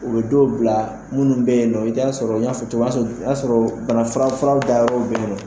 U be dɔw bila munnu be yen nɔ i bi t'a sɔrɔ n y'a fɔ to sɔrɔ o y'a sɔrɔ banafura fura da yɔrɔw be yen nɔ